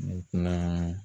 Ne kuma